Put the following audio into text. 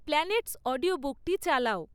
planets অডিওবুকটি চালাও